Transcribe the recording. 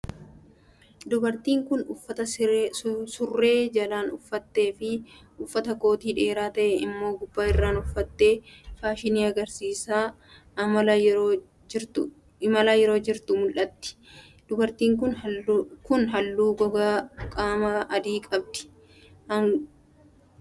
Dubartiin kun, uffatta surree jalaan uffattee fi uffata kootii dheeraa ta'e immoo gubbaa irraan uffattee faashinii agarsiisaa imalaa yeroo jirtu mul'atti. Dubartiin kun, haalluu gogaa diimaa qabdi. Agarsiisni faashinii kun, dhaabbata kamiin qophaa'e?